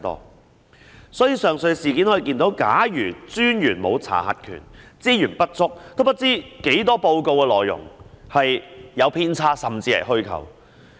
因此，從上述事件可見，假如專員沒有查核權、資源不足，有多少報告的內容有偏差，甚至是虛構，便無從得知。